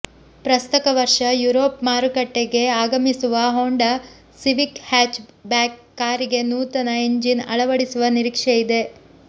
ಪ್ರಸಕ್ತ ವರ್ಷ ಯುರೋಪ್ ಮಾರುಕಟ್ಟೆಗೆ ಆಗಮಿಸುವ ಹೋಂಡಾ ಸಿವಿಕ್ ಹ್ಯಾಚ್ ಬ್ಯಾಕ್ ಕಾರಿಗೆ ನೂತನ ಎಂಜಿನ್ ಅಳವಡಿಸುವ ನಿರೀಕ್ಷೆಯಿದೆ